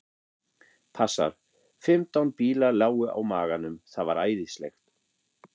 Passar. fimmtán bílar lágu á maganum. það var æðislegt.